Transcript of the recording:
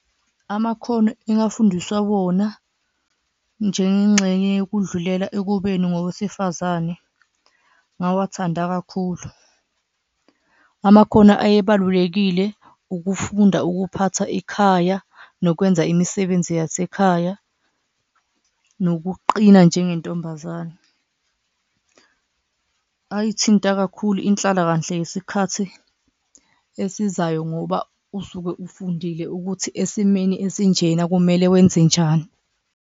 Amakhono engafundiswa wona njengengxenye yokudlulela ekubeni ngowesifazane ngawathanda kakhulu, amakhono ayebalulekile ukufunda ukuphatha ikhaya nokwenza imisebenzi yasekhaya, nokuqina njengentombazane ayithinta kakhulu inhlalakahle yesikhathi esizayo. Ngoba usuke ufundile ukuthi esimeni esinjena kumele wenze njani.